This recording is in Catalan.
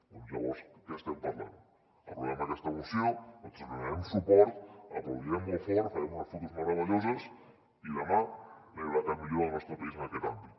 doncs llavors de què estem parlant aprovem aquesta moció nosaltres li donarem suport aplaudirem molt fort farem unes fotos meravelloses i demà no hi haurà cap millora al nostre país en aquest àmbit